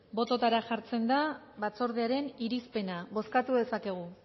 botoetara jartzen da batzordearen irizpena bozkatu dezakegu